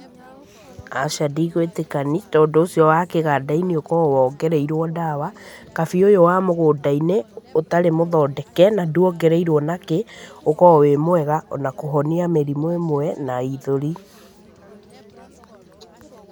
Aca ndigũĩtĩkani, tondũ ũcio wa kĩganda-inĩ ũkoragwo wongereirũo ndawa. Kabi ũyũ wa mũgũnda-inĩ ũtarĩ mũthondeke na nduongereirũo ona kĩ, ũkoragwo wĩ mwega ona kũhonia mĩrimũ ĩmwe na ithũri.